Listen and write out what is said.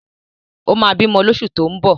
Ó ma bímọ lóṣù tó ń bọ̀